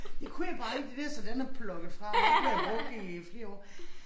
Det kunne jeg bare ikke det der så den er plugget fra ikke brugt i flere år